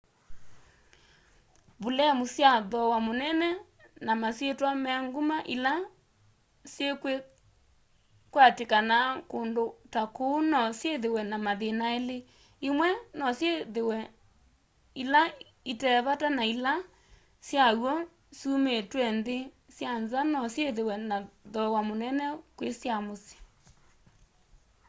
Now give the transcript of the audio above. vulemu sya thooa munene na masyitwa me nguma ila sikwatikanaa kundu ta kuu no syithiwe na mathina eli imwe no syithiwe ila itee vata na ila sya w'o syumitw'e nthi sya nza no syithiwe na thooa munene kwi sya musyi